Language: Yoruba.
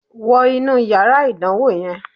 Wo inú yàrá ìdánwò yẹn